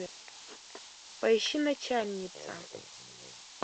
поищи начальница